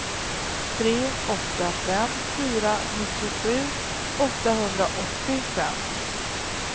tre åtta fem fyra nittiosju åttahundraåttiofem